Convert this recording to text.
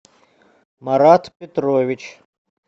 марат петрович